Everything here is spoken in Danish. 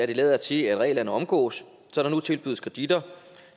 det lader til at reglerne omgås så der nu tilbydes kreditter